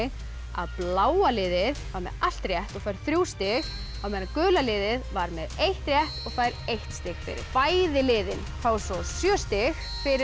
að bláa liðið var með allt rétt og fær þrjú stig á meðan gula liðið var með eitt rétt og fær eitt stig bæði liðin fá svo sjö stig fyrir